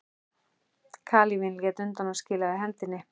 Kalífinn lét undan og skilaði hendinni.